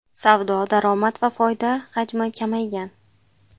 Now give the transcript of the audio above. Savdo, daromad va foyda hajmi kamaygan.